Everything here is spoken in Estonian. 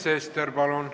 Sven Sester, palun!